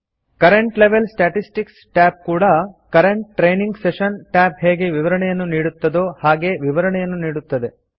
current level statistics tab ಕೂಡಾ current training session tab ಹೇಗೆ ವಿವರಣೆಯನ್ನು ನೀಡುತ್ತದೋ ಹಾಗೇ ವಿವರಣೆಯನ್ನು ನೀಡುತ್ತದೆ